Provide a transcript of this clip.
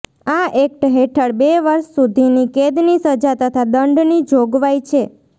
આ એક્ટ હેઠળ બે વર્ષ સુધીની કેદની સજા તથા દંડની જોગવાઈ છે